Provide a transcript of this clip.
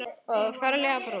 Og þú ferlega brún.